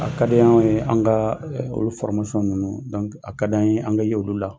A kadi anw ye an kaa olu ninnu, a kad'an ye an ke ya olu la.